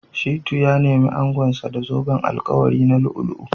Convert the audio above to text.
Shittu ya nemi angonsa da zoben alkawari na lu'u-lu'u